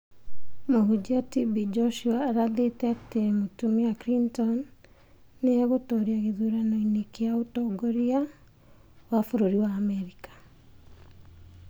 Mũhunjia TB Joshua arathĩte atĩ mũtumia Clinton nĩ egũtoria gĩthurano-inĩ kĩa ũtongoria wa bũrũri wa Amerika